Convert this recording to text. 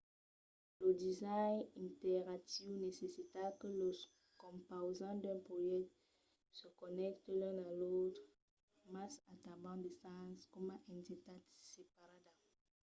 lo design interactiu necessita que los compausants d’un projècte se connècten l’un a l’autre mas a tanben de sens coma entitat separada